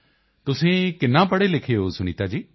ਤੁਸੀਂ ਕਿੰਨਾ ਪੜ੍ਹੇ ਲਿਖੇ ਹੋ ਸੁਨੀਤਾ ਜੀ